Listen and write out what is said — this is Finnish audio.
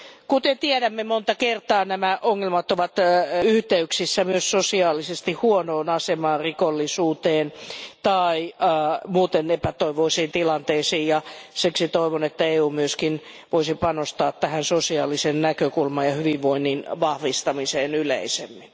Kuten tiedämme, monta kertaa nämä ongelmat ovat yhteyksissä myös sosiaalisesti huonoon asemaan, rikollisuuteen tai muuten epätoivoisiin tilanteisiin, ja siksi toivon, että EU myös voisi panostaa tähän sosiaalisen näkökulman ja hyvinvoinnin vahvistamiseen yleisemmin.